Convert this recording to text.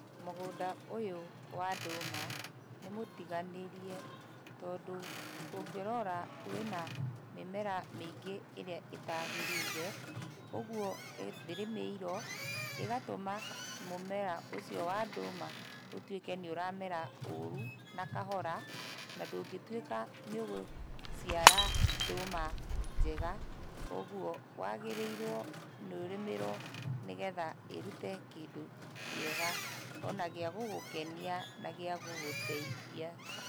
Mũgũnda ũyũ wa ndũma nĩmũtiganĩrie, tondũ ũngĩrora wĩna mĩmera mĩingĩ ĩrĩa ĩtagĩrĩire, ũguo ndĩrĩmĩirwo, ĩgatũma mũmera ũcio wa ndũma ũtuĩke nĩũramera ũru na kahora, na ndũngĩtuĩka nĩũgũciara ndũma njega, ũguo wagĩrĩirwo nĩ ũrĩmĩrwo nĩgetha ĩrute kindũ kĩega ona gĩa gũgũkenia na gĩagũgũteithia.